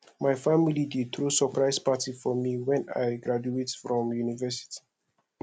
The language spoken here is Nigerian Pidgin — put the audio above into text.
my family dey throw surprise party for me when i graduate from university